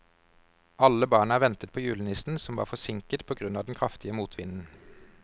Alle barna ventet på julenissen, som var forsinket på grunn av den kraftige motvinden.